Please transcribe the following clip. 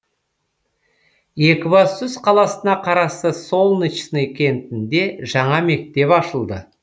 екібастұз қаласына қарасты солнечный кентінде жаңа мектеп ашылды